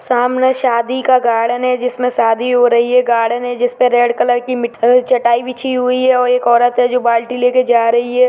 सामने शादी का गार्डन हैं जिस मे शादी हो रही हैं गार्डन हैं जिस पे रेड कलर की मिट चटाई बिछी हुई हैं और एक औरत हैं जो बाल्टी लेके जा रही हैं।